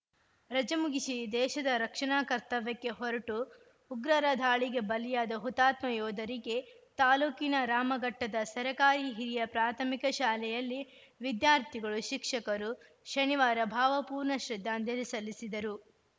ರಜೆ ಮುಗಿಸಿ ದೇಶದ ರಕ್ಷಣಾ ಕರ್ತವ್ಯಕ್ಕೆ ಹೊರಟು ಉಗ್ರರ ದಾಳಿಗೆ ಬಲಿಯಾದ ಹುತಾತ್ಮ ಯೋಧರಿಗೆ ತಾಲೂಕಿನ ರಾಮಘಟ್ಟದ ಸರಕಾರಿ ಹಿರಿಯ ಪ್ರಾಥಮಿಕ ಶಾಲೆಯಲ್ಲಿ ವಿದ್ಯಾರ್ಥಿಗಳು ಶಿಕ್ಷಕರು ಶನಿವಾರ ಭಾವಪೂರ್ಣ ಶ್ರದ್ದಾಂಜಲಿ ಸಲ್ಲಿಸಿದರು